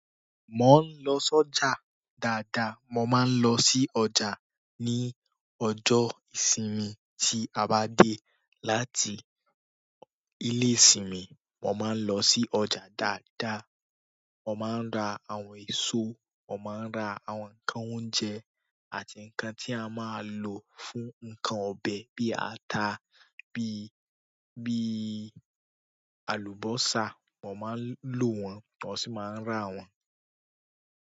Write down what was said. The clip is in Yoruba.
Mo ń lọ sọ́jà dáadáa. Mo máa ń lọ sí ọjà ní ọjọ́ ìsinmi tí a bá dé láti ilé ìsinmi, mo máa ń lọ sí ọjà dáadáa. Wọ́n máa ń ra àwọn ẹso, wọ́n máa ń ra àwọn nǹkan oúnjẹ àti nǹkan tí a máa lò fún nǹkan ọbẹ̀ bí ata, bí, bí alubosa. Wọ́n máa ń lò wọ́n, wọ́n sì máa ń rà wọ́n.